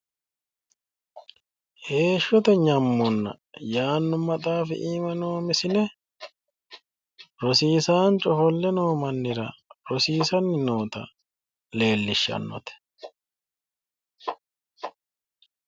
heeshshote nyammonna yaanno maxaafi iima noo misile rosiisaanchu ofolle noo mannira rosiisanni noota leellishshannote.